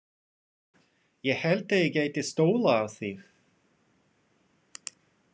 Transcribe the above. Ég hélt ég gæti stólað á þig.